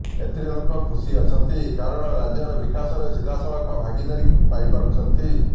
ଏଥିରେ ଲୋକ ଖୁସି ଅଛନ୍ତି କାରଣ ରାଜ୍ୟର ବିକାଶରେ ସିଧାସଳଖ ଭାଗିଦାରୀ ପାଇପାରୁଛନ୍ତି